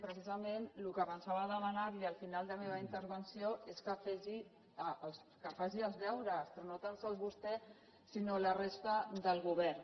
precisament el que pensava demanar li al final de la meva intervenció és que fes els deures però no tan sols vostè sinó la resta del govern